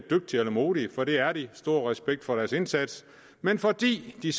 modige for det er de stor respekt for deres indsats men fordi de